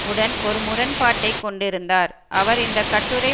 உடன் ஒரு முரண்பாட்டை கொண்டிருந்தார் அவர் இந்த கட்டுரை